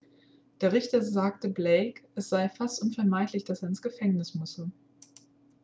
der richter sagte blake es sei fast unvermeidlich dass er ins gefängnis müsse